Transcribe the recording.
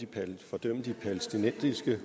palæstinensisk